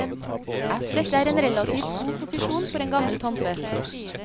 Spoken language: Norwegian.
Dette er en relativt god posisjon for en gammel tante.